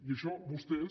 i això vostès